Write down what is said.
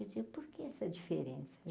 Eu dizia, por que essa diferença?